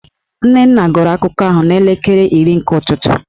Nnenna gụrụ akụkọ ahụ n'elekere iri nke ụtụtụ